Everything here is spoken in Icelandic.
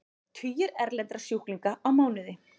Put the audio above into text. Tugir erlendra sjúklinga á mánuði